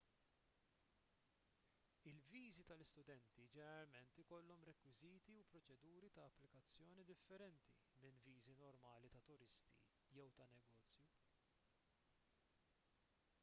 il-viżi tal-istudenti ġeneralment ikollhom rekwiżiti u proċeduri ta' applikazzjoni differenti minn viżi normali ta' turisti jew ta' negozju